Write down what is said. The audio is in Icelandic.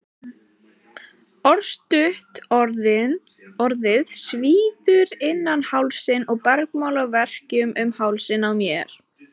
Örstutt orðið svíður innan hálsinn og bergmálar verkjum um hausinn á mér.